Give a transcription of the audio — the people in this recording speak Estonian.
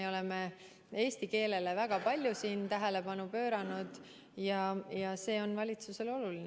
Me oleme eesti keelele väga palju tähelepanu pööranud, see on valitsusele oluline.